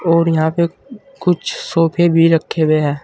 और यहां पे कुछ सोफे भी रखे हुए हैं।